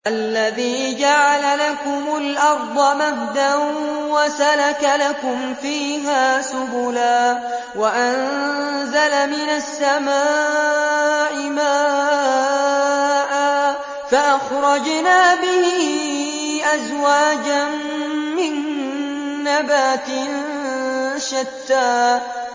الَّذِي جَعَلَ لَكُمُ الْأَرْضَ مَهْدًا وَسَلَكَ لَكُمْ فِيهَا سُبُلًا وَأَنزَلَ مِنَ السَّمَاءِ مَاءً فَأَخْرَجْنَا بِهِ أَزْوَاجًا مِّن نَّبَاتٍ شَتَّىٰ